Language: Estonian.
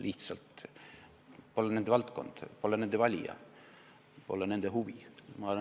Lihtsalt see polnud nende valdkond, nende valijad, nende huvi.